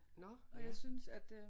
Nåh ja